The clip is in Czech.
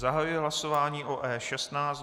Zahajuji hlasování o E16.